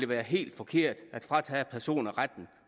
være helt forkert at fratage personer retten